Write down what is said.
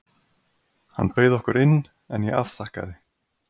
Hann bauð okkur inn, en ég afþakkaði.